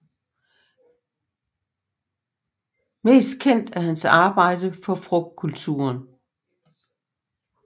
Mest kendt er hans arbejde for frugtkulturen